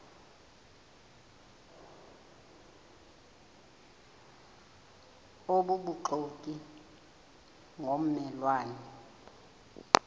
obubuxoki ngomme lwane